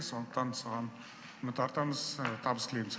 сондықтан саған үміт артамыз табыс тілейміз